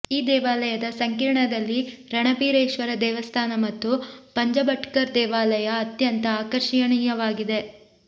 ಈ ದೇವಾಲಯದ ಸಂಕೀರ್ಣದಲ್ಲಿ ರಣಬೀರೇಶ್ವರ ದೇವಸ್ಥಾನ ಮತ್ತು ಪಂಜಬಟ್ಕರ್ ದೇವಾಲಯ ಅತ್ಯಂತ ಆಕರ್ಷಣೀಯವಾಗಿದೆ